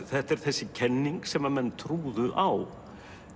þetta er þessi kenning sem menn trúðu á